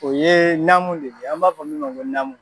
O ye namu de ye an b'a fɔ min ko namu.